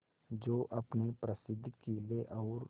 जो अपने प्रसिद्ध किले और